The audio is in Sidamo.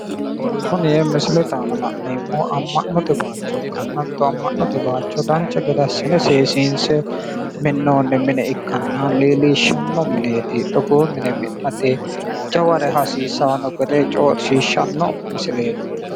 Kuni misilete aana la'neemmohu amma'note bayiicho ikkanna hatto amma'note bayiicho dancha gede assine seesiinse minnoonni mine ikkanna leellishshanno mineeti togoo mine mi'nate jaware hasiisanno gede coyiishshanno misileeti